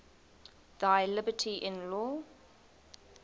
thy liberty in law